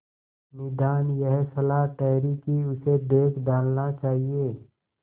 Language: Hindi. निदान यह सलाह ठहरी कि इसे बेच डालना चाहिए